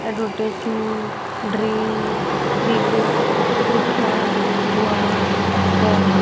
Advertising dream big लिखा हुआ है।